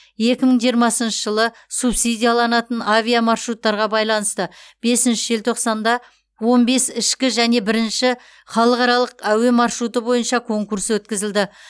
екі мың жиырмасыншы жылы субсидияланатын авиамаршруттарға байланысты бесінші желтоқсанда он бес ішкі және бірінші халықаралық әуе маршруты бойынша конкурс өткізілді